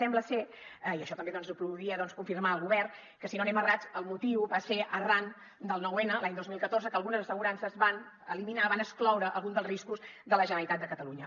sembla ser i això també ho podria confirmar el govern que si no anem errats el motiu va ser arran del noun l’any dos mil catorze que algunes assegurances van eliminar van excloure alguns dels riscos de la generalitat de catalunya